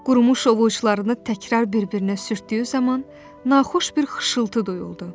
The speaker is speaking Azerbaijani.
Qurumuş ovuçlarını təkrar bir-birinə sürtdüyü zaman naxoş bir xışıltı duyuldu.